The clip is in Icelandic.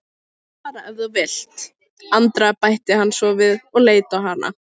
Þú mátt fara ef þú vilt, Andrea bætti hann svo við og leit á hana.